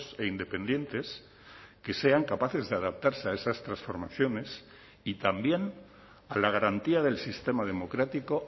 e independientes que sean capaces de adaptarse a esas transformaciones y también a la garantía del sistema democrático